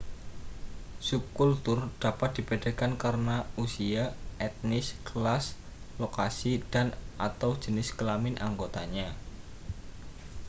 subkultur dapat dibedakan karena usia etnis kelas lokasi dan/atau jenis kelamin anggotanya